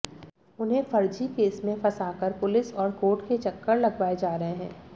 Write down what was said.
उन्हें फर्जी केस में फंसाकर पुलिस और कोर्ट के चक्कर लगवाए जा रहे हैं